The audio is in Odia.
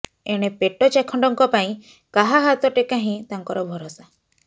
ଏଣେ ପେଟ ଚାଖଣ୍ଡଙ୍କ ପାଇଁ କାହା ହାତ ଟେକା ହିଁ ତାଙ୍କର ଭରସା